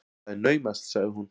Það er naumast, sagði hún.